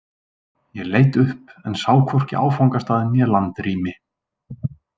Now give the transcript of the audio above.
Ég leit upp en sá hvorki áfangastað né landrými.